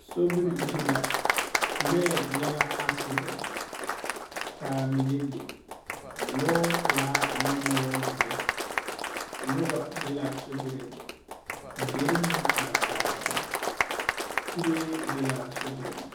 Sobiri zu la. Lɔɛ nyɛ la aasidɛnte ka a mine le, lɔɔpelaa ane lɔɔzeɛ. Noba be sobiriŋ deri meŋ are arɛɛ la. Kuree be la a sobiriŋ